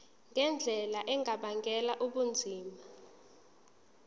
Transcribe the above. ngendlela engabangela ubunzima